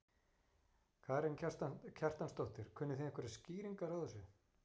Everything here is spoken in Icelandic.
Karen Kjartansdóttir: Kunnið þið einhverjar skýringar á þessu?